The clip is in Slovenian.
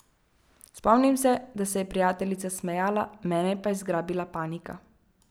Spomnim se, da se je prijateljica smejala, mene pa je zgrabila panika.